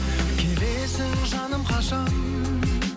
келесің жаным қашан